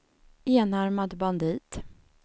enarmad bandit